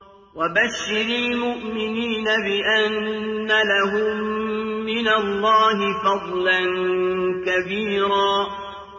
وَبَشِّرِ الْمُؤْمِنِينَ بِأَنَّ لَهُم مِّنَ اللَّهِ فَضْلًا كَبِيرًا